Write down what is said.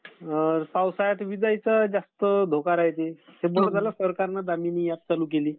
पावसाळ्यांत विजांचा जास्त धोका राहते.